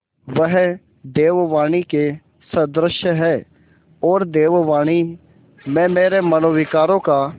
वह देववाणी के सदृश हैऔर देववाणी में मेरे मनोविकारों का